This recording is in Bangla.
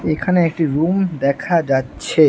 এখানে একটি রুম দেখা যাচ্ছে।